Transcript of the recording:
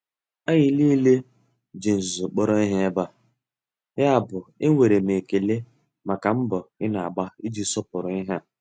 Anyị niile ji nzuzo kpọrọ ihe ebe a, yabụ enwere m ekele maka mbọ ị na-agba iji sọpụrụ ihe.